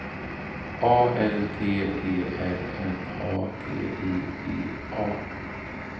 A L T E R N A T I V A